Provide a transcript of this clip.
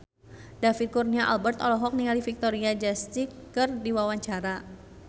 David Kurnia Albert olohok ningali Victoria Justice keur diwawancara